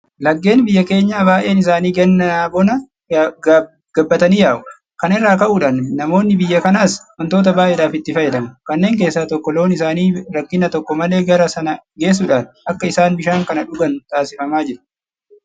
Laggeen biyya keenyaa baay'een isaanii gannaa bona gabbatanii yaa'u. Kana irraa ka'uudhaan namoonni biyya kanaas waantota baay'eedhaaf itti fayyadamu. Kanneen keessaa tokko loon isaanii rakkina tokko malee gara sana geessuudhaan akka isaan bishaan kana dhugan taasifamaa jira.